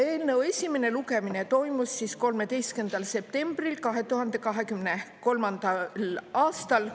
Eelnõu esimene lugemine toimus 13. septembril 2023. aastal.